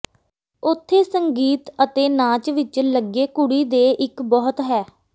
ਉੱਥੇ ਸੰਗੀਤ ਅਤੇ ਨਾਚ ਵਿੱਚ ਲੱਗੇ ਕੁੜੀ ਦੇ ਇੱਕ ਬਹੁਤ ਹੈ